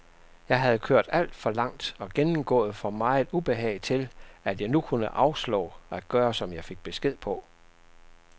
Jeg havde kørt alt for langt og gennemgået for meget ubehag til, at jeg nu kunne afslå at gøre, som jeg fik besked på.